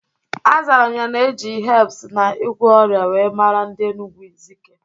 Azara m ya na eji hebs na ịgwọ ọrịa wee mara ndi Enugwu Ezike